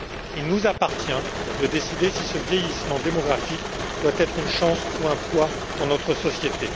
Il nous appartient de décider si ce vieillissement démographique doit être une chance ou un poids pour notre société.